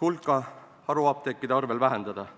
hulka haruapteekide arvel vähendada.